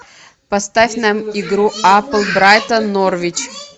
поставь нам игру апл брайтон норвич